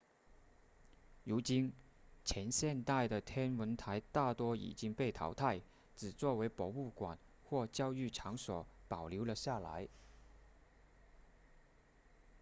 如今前现代的天文台大多已经被淘汰只作为博物馆或教育场所保留了下来